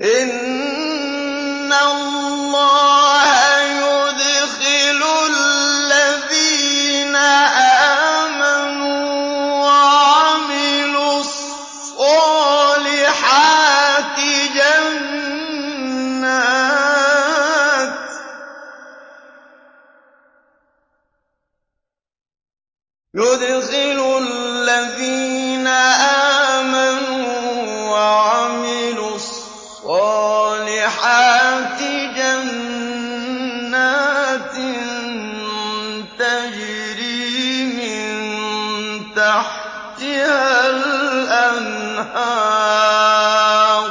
إِنَّ اللَّهَ يُدْخِلُ الَّذِينَ آمَنُوا وَعَمِلُوا الصَّالِحَاتِ جَنَّاتٍ تَجْرِي مِن تَحْتِهَا الْأَنْهَارُ ۚ